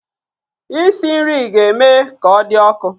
Isi nri ga-eme ka ọ dị ọkụ